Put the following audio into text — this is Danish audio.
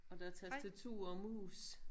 Og der er tastatur og mus